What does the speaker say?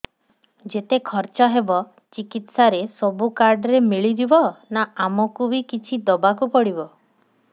ଯେତେ ଖର୍ଚ ହେବ ଚିକିତ୍ସା ରେ ସବୁ କାର୍ଡ ରେ ମିଳିଯିବ ନା ଆମକୁ ବି କିଛି ଦବାକୁ ପଡିବ